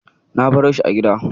Na baroshi a gida.